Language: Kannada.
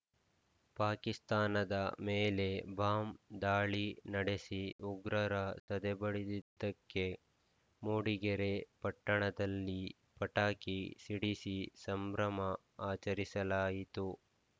ಪಾಕಿಸ್ತಾನದ ಮೇಲೆ ಬಾಂಬ್‌ ದಾಳಿ ನಡೆಸಿ ಉಗ್ರರ ಸದೆಬಡಿದಿದ್ದಕ್ಕೆ ಮೂಡಿಗೆರೆ ಪಟ್ಟಣದಲ್ಲಿ ಪಟಾಕಿ ಸಿಡಿಸಿ ಸಂಭ್ರಮ ಆಚರಿಸಲಾಯಿತು